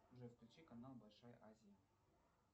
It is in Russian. джой включи канал большая азия